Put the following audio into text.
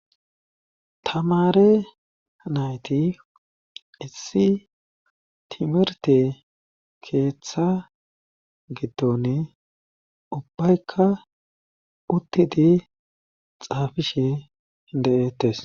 Tamare nayti issi timerte keeththa giddone ubbaykka uttidi xaafishe hide'ettes